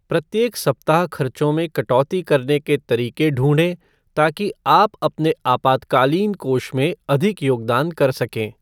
प्रत्येक सप्ताह खर्चों में कटौती करने के तरीके ढूंढें ताकि आप अपने आपातकालीन कोष में अधिक योगदान कर सकें।